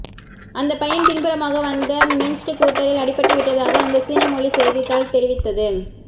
அந்தப் பையன் பின்புறமாக வந்த மின்ஸ்கூட்டரில் அடிபட்டு விட்டதாக அந்தச் சீன மொழிச் செய்தித்தாள் தெரிவித்தது